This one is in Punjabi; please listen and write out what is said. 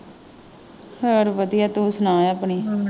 ਹੋਰ ਵਧੀਆ ਤੂੰ ਸੁਣਾ ਆਪਣੀ।